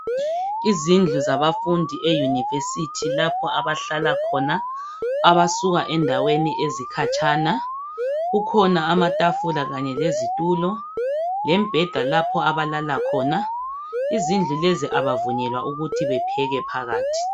izindlu zabafundi e university lapho abahlala khona abasuka endaweni ezikhatshana kukhona amatafula kanye lezitulo lembheda lapho abalala khona izindlu lezi abavunyelwa ukuthi bepheke phakathi